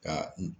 Ka n